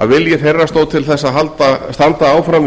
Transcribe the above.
að vilji þeirra stóð til þess að standa áfram við